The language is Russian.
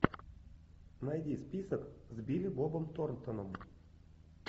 найди список с билли бобом торнтоном